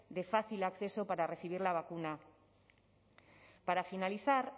de fácil acceso para recibir la vacuna para finalizar